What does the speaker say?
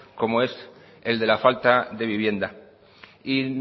como es el de la falta de vivienda y